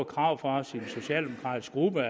krav fra sin socialdemokratiske gruppe